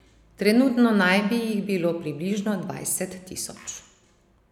Trenutno naj bi jih bilo približno dvajset tisoč.